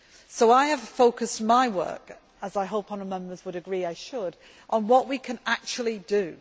So I have focused my work, as I hope honourable Members would agree I should, on what we can actually do.